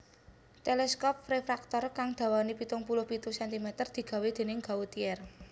Teleskop refraktor kang dawané pitung puluh pitu centimeter digawé dèning Gautier